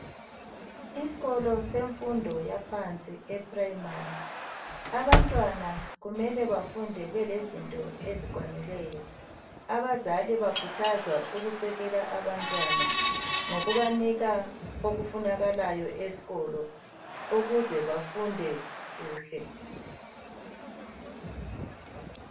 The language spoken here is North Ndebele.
Isikolo semfundo yaphansi eprimary abantwana kumele bafunde belezinto esikwanileyo abazali bakhuthazwa ukusekela abantwana ngokubanika okufunakalayo esikolo ukuze bafunde kuhle.